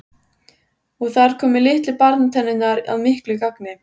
Og þar komu litlu barnatennurnar að miklu gagni.